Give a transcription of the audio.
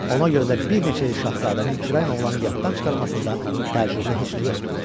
Ona görə də bir neçə il şahzadənin kürəkən oğlanı yaddan çıxarmasında təcrübəli heç nə yoxdur.